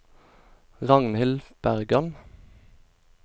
Ragnhild Bergan